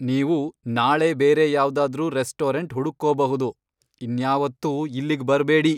ನೀವು ನಾಳೆ ಬೇರೆ ಯಾವ್ದಾದ್ರೂ ರೆಸ್ಟೋರೆಂಟ್ ಹುಡುಕ್ಕೋಬಹುದು. ಇನ್ಯಾವತ್ತೂ ಇಲ್ಲಿಗ್ ಬರ್ಬೇಡಿ.